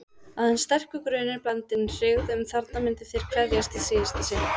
Aðeins sterkur grunur, blandinn hryggð, um að þarna myndu þeir kveðjast í síðasta sinn.